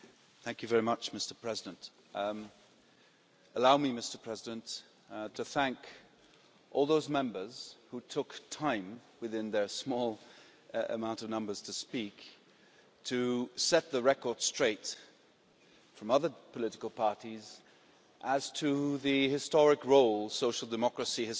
Mr President, allow me to thank all those Members who took time from within their small amount of numbers to speak, to set the record straight from other political parties as to the historic role social democracy has played